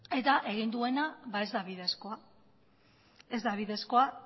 eta egin duena ba ez da bidezkoa ez da bidezkoa